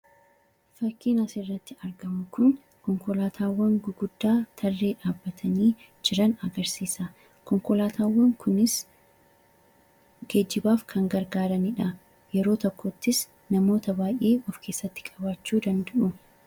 Fakkiin asirratti argamu kun, konkolaatawwan gurguddaa tarree dhabbatanii jiran agarsiisa. konkolaatawwan kunis geejjibaaf kan gargaaranidha. Yeroo tokkottis namoota baay'ee of keessatti qabachu danda'u.